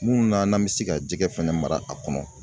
Muna n'an bi se ka jɛgɛ fɛnɛ mara a kɔnɔ